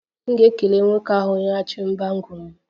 M ga-ekele nwoke ahụ nyeghachiri bangle m